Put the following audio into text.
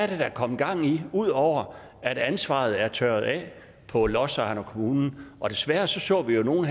der er kommet gang i ud over at ansvaret er tørret af på lodsejerne og kommunen desværre så så vi jo nogle